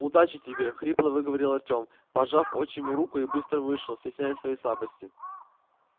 удачи тебе хрипло выговорил артём пожав отчиму руку и быстро вышел стесняясь своей слабости